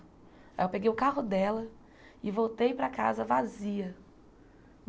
Aí eu peguei o carro dela e voltei para casa vazia.